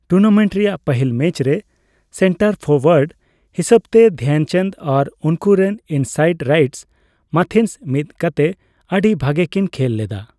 Tournament ᱨᱮᱭᱟᱜ ᱯᱟᱹᱦᱤᱞ match ᱨᱮ ᱥᱮᱱᱴᱟᱨ ᱯᱷᱚᱨᱳᱭᱟᱰ ᱦᱤᱥᱟᱹᱵᱛᱮ ᱫᱷᱮᱱᱪᱟᱸᱫᱽ ᱟᱨ ᱩᱱᱠᱩᱨᱮᱱ ᱤᱱᱥᱟᱭᱮᱰᱼᱨᱟᱭᱮᱴ ᱢᱟᱛᱷᱤᱱᱥ ᱢᱤᱫᱠᱟᱛᱮ ᱟᱹᱰᱤ ᱵᱷᱟᱹᱜᱮ ᱠᱤᱱ ᱠᱷᱮᱞ ᱞᱮᱫᱟ ᱾